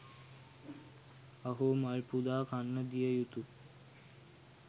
අහෝ මල් පුදා කන්න දිය යුතු